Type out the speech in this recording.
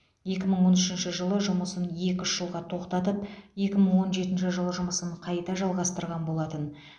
екі мың он үшінші жылы жұмысын екі үш жылға тоқтатып екі мың он жетінші жылы жұмысын қайта жалғастырған болатын